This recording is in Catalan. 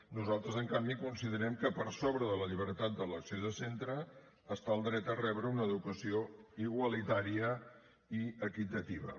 nosaltres en canvi considerem que per sobre de la llibertat d’elecció de centre hi ha el dret a rebre una educació igualitària i equitativa